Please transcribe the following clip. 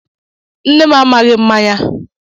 Nne m amaghi mmanya